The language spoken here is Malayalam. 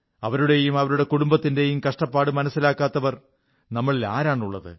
അവരുടെയും അവരുടെ കുടുംബത്തിന്റെയും കഷ്ടപ്പാട് മനസ്സിലാക്കാത്തവർ നമ്മളിൽ ആരാണുള്ളത്